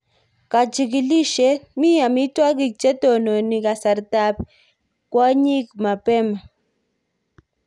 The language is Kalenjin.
Kachigilisyet: Mi amitwogik che tononi kasartab kwonyik mabema